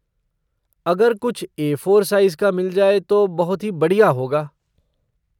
अगर कुछ A four size का मिल जाए तो बहुत ही बढ़िया होगा।